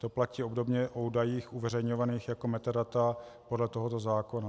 To platí obdobně o údajích uveřejňovaných jako metadata podle tohoto zákona.